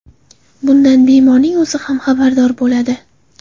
Bundan bemorning o‘zi ham xabardor bo‘ladi.